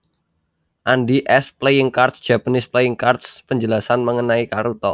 Andy s Playing Cards Japanese playing cards Penjelasan mengenai karuta